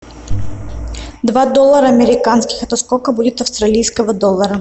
два доллара американских это сколько будет австралийского доллара